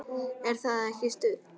Er það ekki stuð?